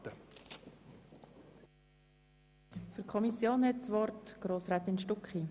Das Wort hat die Kommissionssprecherin Grossrätin Stucki.